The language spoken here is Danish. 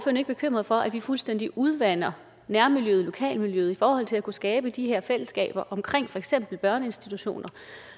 ikke bekymret for at vi fuldstændig udvander nærmiljøet lokalmiljøet i forhold til at kunne skabe de her fællesskaber omkring for eksempel børneinstitutioner